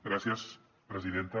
gràcies presidenta